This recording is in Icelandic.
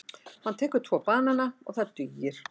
Hann tekur tvo banana og það dugir.